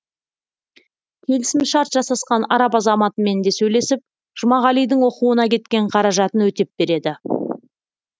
келісімшарт жасасқан араб азаматымен де сөйлесіп жұмағалидің оқуына кеткен қаражатын өтеп береді